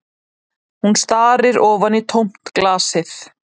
Hún starir ofan í tómt glasið